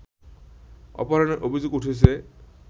অপহরণের অভিযোগ উঠেছে